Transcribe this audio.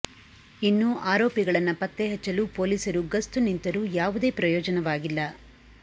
ಇನ್ನು ಆರೋಪಿಗಳನ್ನ ಪತ್ತೆ ಹಚ್ಚಲು ಪೊಲೀಸರು ಗಸ್ತು ನಿಂತರೂ ಯಾವುದೇ ಪ್ರಯೋಜನವಾಗಿಲ್ಲ